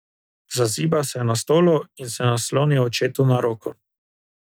Zazibal se je na stolu in se naslonil očetu na roko.